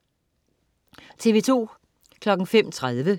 TV2: